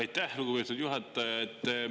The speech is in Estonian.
Aitäh, lugupeetud juhataja!